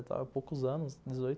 há poucos anos, dezoito